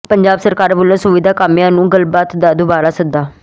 ਪੰਜਾਬ ਸਰਕਾਰ ਵਲੋਂ ਸੁਵਿਧਾ ਕਾਮਿਆਂ ਨੂੰ ਗੱਲਬਾਤ ਦਾ ਦੁਬਾਰਾ ਸੱਦਾ